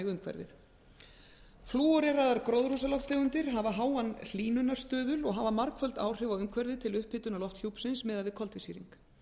umhverfið flúoreraðar gróðurhúsalofttegundir hafa háan hlýnunarstuðul og hafa margföld áhrif á umhverfið til upphitunar lofthjúpsins miðað við koltvísýring